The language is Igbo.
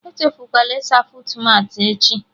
Echefukwala ịsa fuutmatị echi